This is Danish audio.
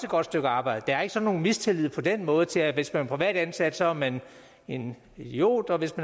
godt stykke arbejde der er ikke sådan nogen mistillid på den måde til at hvis man er privat ansat så er man en idiot og hvis